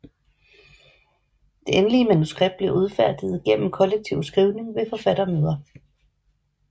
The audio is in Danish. Det endelige manuskript bliver udfærdiget gennem kollektiv skrivning ved forfattermøder